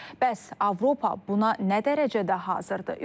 Bəs Avropa buna nə dərəcədə hazırdır?